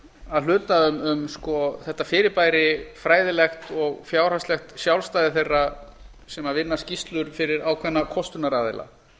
að hluta um þetta fyrirbæri fræðilegt og fjárhagslegt sjálfstæði þeirra sem vina skýrslur fyrir ákveðna kostunaraðila